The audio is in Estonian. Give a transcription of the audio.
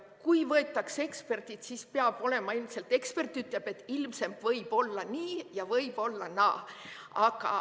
Kui võetakse eksperdid, siis ekspert ütleb, et ilmselt võib olla nii ja võib olla naa.